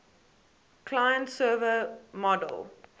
client server model